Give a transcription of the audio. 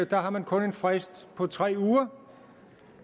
der har man kun en frist på tre uger